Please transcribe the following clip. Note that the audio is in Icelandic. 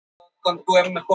Ég sé ykkur greinilega.